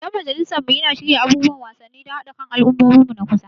Dan majalisar mu yana shirya abubuwan wasanni don haɗa kan al'ummomi a kusa.